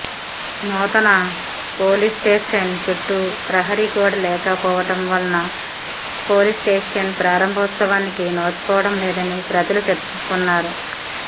నూతన పోలీస్స్టేషన్ చుట్టు ప్రహారి గోడ లేక పోవడంవలన పోలీస్స్టేషన్ ప్రారంభోత్సవానికి నోచుకోవడంలేదని ప్రజలు చర్చించు కుంటున్నారు